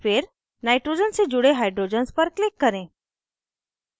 फिर nitrogen से जुड़े hydrogens पर click करें